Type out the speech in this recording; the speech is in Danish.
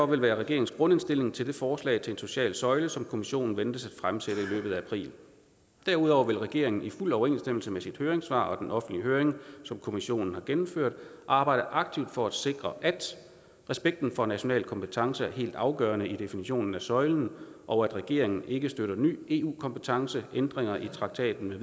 være regeringens grundindstilling til det forslag til en social søjle som kommissionen ventes at fremsætte i løbet af april derudover vil regeringen i fuld overensstemmelse med sit høringssvar på den offentlige høring som kommissionen har gennemført arbejde aktivt for at sikre at respekten for national kompetence er helt afgørende i definitionen af søjlen og at regeringen ikke støtter ny eu kompetence ændringer i traktaten